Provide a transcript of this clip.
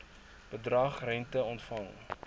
bedrag rente ontvang